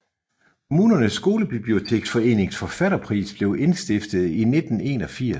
Kommunernes Skolebiblioteksforenings Forfatterpris blev indstiftet i 1981